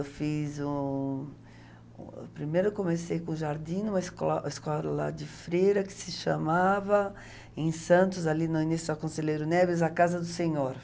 Eu fiz um... Primeiro eu comecei com jardim em uma escola escola de freira que se chamava, em Santos, ali no início da Conselheiro Neves, a Casa do Senhor.